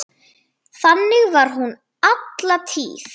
Þannig var hún alla tíð.